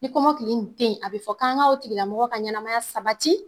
Ni kɔmɔkili in te ye a bɛ fɔ k'an ŋa o tigila mɔgɔ ka ɲɛnamaya sabati